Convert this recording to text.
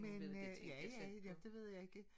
Men øh ja ja men det ved jeg ikke